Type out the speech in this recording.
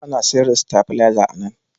Ana sayar da sitabileza a nan.